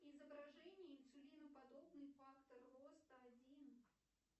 изображение инсулиноподобный фактор роста один